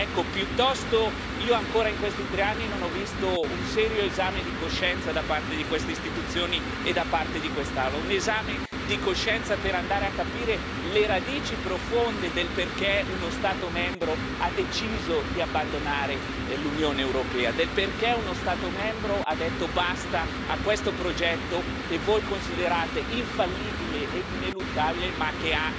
In questi tre anni non ho ancora visto un serio esame di coscienza da parte di queste istituzioni e da parte di quest'Aula, un esame di coscienza per andare a capire le radici profonde del perché uno Stato membro ha deciso di abbandonare l'Unione europea, del perché uno Stato membro ha detto basta a questo progetto che voi considerate infallibile ed ineluttabile ma che ha evidenti difetti.